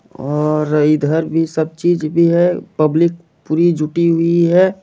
और इधर भी सब चीज भी है पब्लिक पुरी जुटी हुई है।